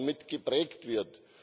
mit geprägt wird.